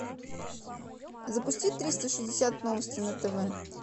запусти триста шестьдесят новости на тв